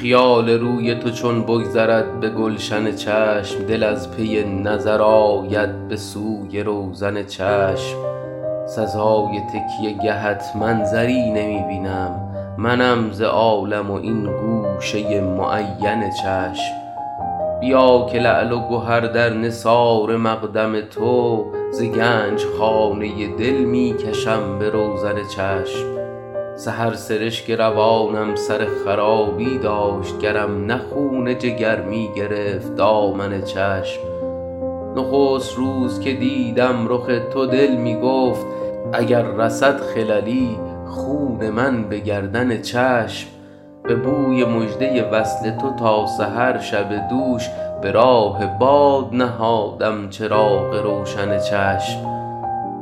خیال روی تو چون بگذرد به گلشن چشم دل از پی نظر آید به سوی روزن چشم سزای تکیه گهت منظری نمی بینم منم ز عالم و این گوشه معین چشم بیا که لعل و گهر در نثار مقدم تو ز گنج خانه دل می کشم به روزن چشم سحر سرشک روانم سر خرابی داشت گرم نه خون جگر می گرفت دامن چشم نخست روز که دیدم رخ تو دل می گفت اگر رسد خللی خون من به گردن چشم به بوی مژده وصل تو تا سحر شب دوش به راه باد نهادم چراغ روشن چشم